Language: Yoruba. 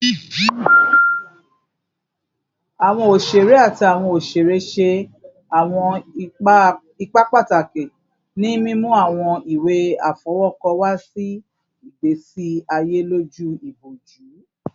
Awọn oṣere ati awọn oṣere ṣe awọn ipa pataki ni mimu awọn iwe afọwọkọ wa si igbesi aye loju iboju